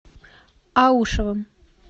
аушевым